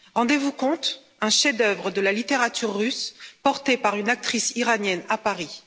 Rendez vous compte, un chef d'œuvre de la littérature russe porté par une actrice iranienne à Paris.